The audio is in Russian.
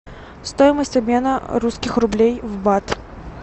стоимость обмена русских рублей в бат